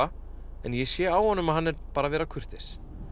en ég sé á honum að hann er bara að vera kurteis